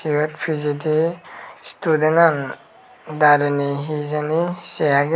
rek pijedi student agon darene hijani sey agey.